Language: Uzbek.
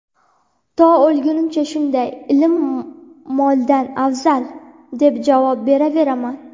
to oʼlgunimcha shunday ("Ilm moldan afzal") deb javob beraveraman!"